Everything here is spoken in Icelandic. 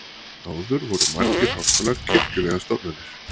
áður voru margir háskólar kirkjulegar stofnanir